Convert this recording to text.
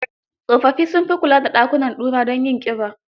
Tsofaffi sun fi kula da dakunan ɗura don yin ƙiba.